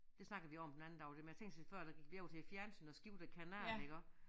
Det snakkede vi om den anden dag det med tænk sig før der gik vi op til æ fjernsyn og skiftede kanalen iggå